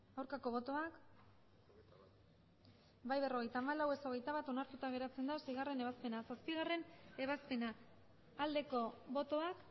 aurkako botoak emandako botoak hirurogeita hamabost bai berrogeita hamalau ez hogeita bat onartuta geratzen da seigarrena ebazpena zazpigarrena ebazpena aldeko botoak